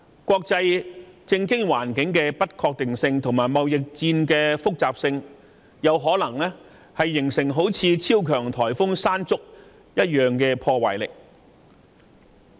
國際政經環境的不確定性，以及貿易戰的複雜性，有可能形成如同超強颱風山竹的破壞力。